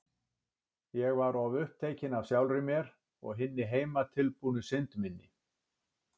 Ég var of upptekin af sjálfri mér og hinni heimatilbúnu synd minni.